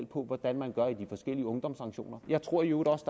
på hvordan man gør i de forskellige ungdomssanktioner jeg tror i øvrigt også